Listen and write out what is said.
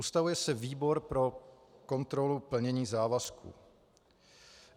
Ustavuje se Výbor pro kontrolu plnění závazků.